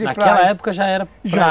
Naquela época já era pra